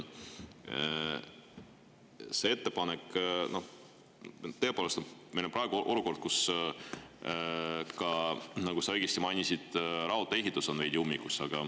Meil on praegu olukord, kus ka, nagu sa õigesti mainisid, raudtee-ehitus on veidi ummikus.